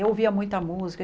Eu ouvia muita música.